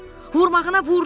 Vurmağına vurdun, Pux dedi.